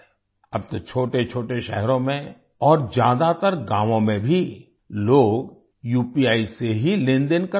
अब तो छोटेछोटे शहरों में और ज्यादातर गांवों में भी लोग उपी से ही लेनदेन कर रहे हैं